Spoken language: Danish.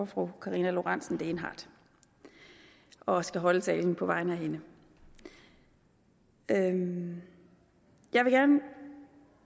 fru karina lorentzen dehnhardt og skal holde talen på vegne af hende jeg vil gerne